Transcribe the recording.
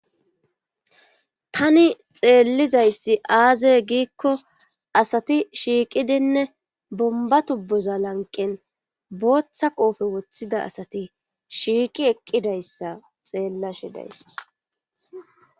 tani xeellizayssi aazey giikko asati shiiqidinne bomba tubboza lanqen booththa qoofe woththida asati shiiqi eqqidayssa xeellashe dayssa